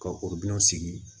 Ka o dun sigi